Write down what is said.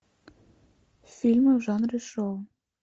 фильмы в жанре шоу